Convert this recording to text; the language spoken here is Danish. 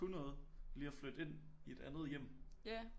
Kunnet noget lige at flytte ind i et andet hjem